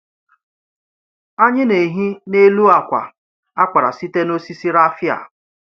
Anyị na-ehi n’elu akwa a kpara site n’osisi raffia.